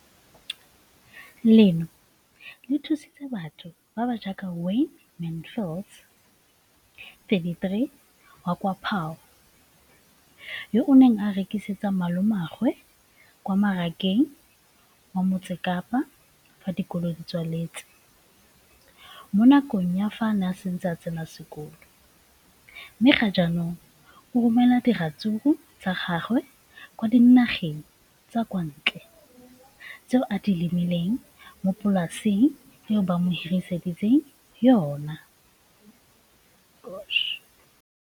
leno le thusitse batho ba ba jaaka Wayne Mansfield, 33, wa kwa Paarl, yo a neng a rekisetsa malomagwe kwa Marakeng wa Motsekapa fa dikolo di tswaletse, mo nakong ya fa a ne a santse a tsena sekolo, mme ga jaanong o romela diratsuru tsa gagwe kwa dinageng tsa kwa ntle tseo a di lemileng mo polaseng eo ba mo hiriseditseng yona.